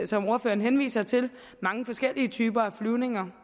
som ordføreren henviser til mange forskellige typer af flyvninger